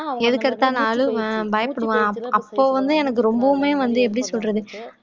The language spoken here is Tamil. எதுக்கெடுத்தாலும் அழுவே பயப்படுவான் அப்போ வந்து எனக்கு ரொம்பவுமே வந்து எப்படி சொல்றது